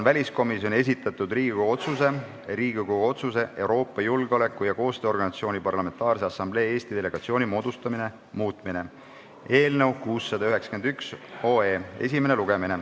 Väliskomisjoni esitatud Riigikogu otsuse "Riigikogu otsuse "Euroopa Julgeoleku- ja Koostööorganisatsiooni Parlamentaarse Assamblee Eesti delegatsiooni moodustamine" muutmine" eelnõu 691 esimene lugemine.